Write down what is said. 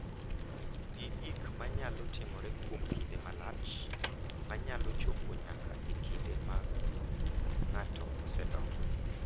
Gi gik ma nyalo timore kuom kinde malach ma nyalo chopo nyaka e kinde ma ng’ato osedongo.